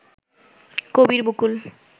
Kabir Bakul